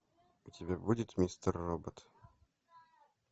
у тебя будет мистер робот